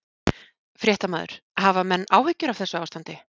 Fréttamaður: Hafa menn áhyggjur af þessu ástandi?